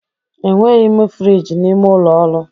Enweghi m friji n'ime ụlọ ọrụ.